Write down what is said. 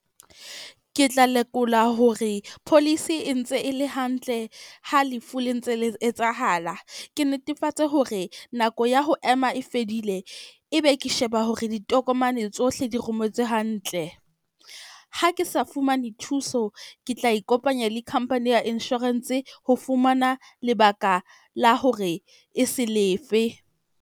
Ke tla lekola hore policy e ntse e le hantle ha lefu le ntse le etsahala. Ke netefatse hore nako ya ho ema e fedile, ebe ke sheba hore ditokomane tsohle di rometswe hantle. Ha ke sa fumane thuso ke tla ikopanya le company ya insurance ho fumana lebaka la hore e se lefe.